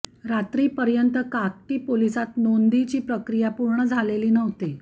रात्रीपर्यंत काकती पोलिसांत नोंदीची प्रक्रिया पूर्ण झालेली नव्हती